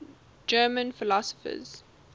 german philosophers